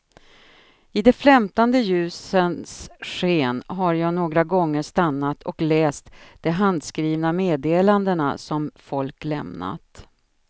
I de flämtande ljusens sken har jag några gånger stannat och läst de handskrivna meddelandena som folk lämnat.